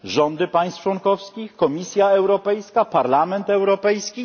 Rządy państw członkowskich, Komisja Europejska, Parlament Europejski?